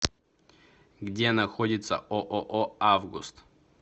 где находится ооо август